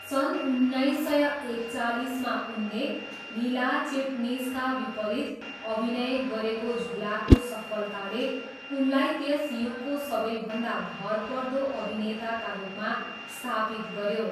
सन् उन्नाइस सय एकचालिसमा उनले लीला चिटनिसका विपरीत अभिनय गरेको झुलाको सफलताले उनलाई त्यस युगको सबैभन्दा भरपर्दो अभिनेताका रूपमा स्थापित गऱ्यो।